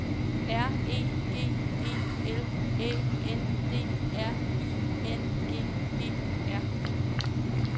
R E G E L Æ N D R I N G E R